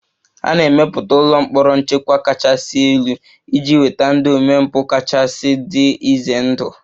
A na-emepụta ụlọ mkpọrọ nchekwa kachasị elu iji nweta ndị omempụ kachasị dị ize ndụ